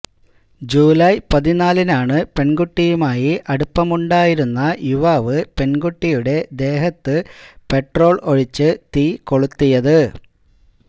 ജൂലായ് പതിനാലിനാണ് പെണ്കുട്ടിയുമായി അടുപ്പമുണ്ടായിരുന്ന യുവാവ് പെണ്കുട്ടിയുടെ ദേഹത്ത് പെട്രോള് ഒഴിച്ച് തീ കൊളുത്തിയത്